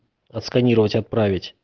отсканировать отправить